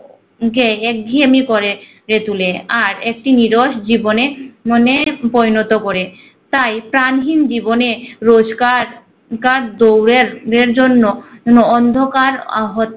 এক ঘেঁয়েমি পরে করে তুলে আর একটি নীরস জীবনে উহ মনে পরিণত করে। তাই প্রাণহীন জীবনে রোজকার কার দূরে রের জন্য no অন্যকার আহ হতে